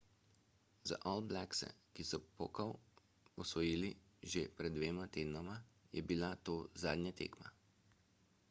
za all blackse ki so pokal osvojili že pred dvema tednoma je bila to zadnja tekma